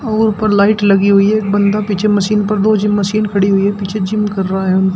और उपर लाइट लगी हुई है एक बंदा पीछे मशीन पर दो जिम मशीन खड़ी हुई है पीछे जिम कर रहा है।